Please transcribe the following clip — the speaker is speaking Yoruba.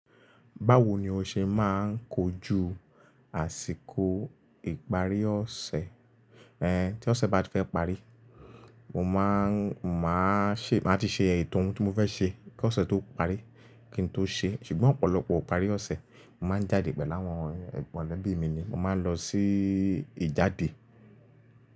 Báwo ni o ṣe máa ń kojú àsìkò ìparí ọ̀sẹ̀? Tí ọ̀sẹ̀ bá ti fẹ́ parí, mo máa ń, máa ṣe, màá ti ṣe ètò ohun tí mo fẹ́ ṣe kí ọ̀sẹ̀ tó parí kí n tó ṣe é. Ṣùgbọ́n ọ̀pọ̀lọpọ̀ ìparí ọ̀sẹ̀, mo mà á jáde pẹ̀lú àwọn mọ̀lẹ́bí mi ni. Mo máa ń lọ sí ìjáde.